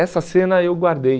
Essa cena eu guardei.